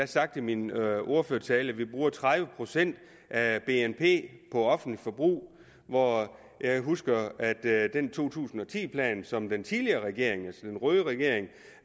sagt i min ordførertale at vi bruger tredive procent af bnp på offentligt forbrug og jeg husker at der i den to tusind og ti plan som den tidligere regering altså den røde regering